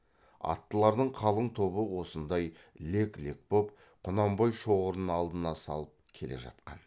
аттылардың қалың тобы осындай лек лек боп құнанбай шоғырын алдына салып келе жатқан